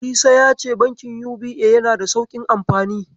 Isa yace Bankin UBA yanada da sauƙin amfani.